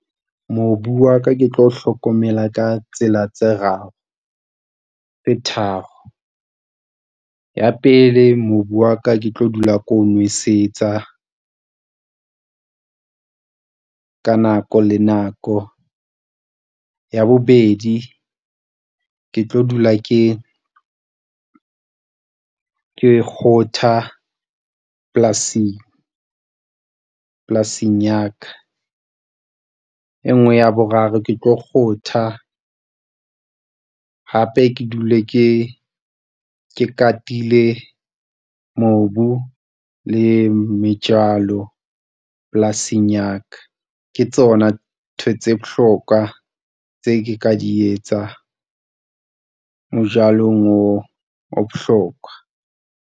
Mobu wa ka ke tlo o hlokomela ka tsela tse raro tse tharo ya pele. Mobu wa ka ke tlo dula ko nwesetsa ka nako le nako ya bobedi, ke tlo dula ke ke kgotha polasing polasing ya ka. E nngwe ya boraro ke tlo kgotha, hape ke dule ke ke katile. Mobu le metjalo polasing ya ka, ke tsona ntho tse bohlokwa tse ke ka di etsa mo jalong wo o bohlokwa.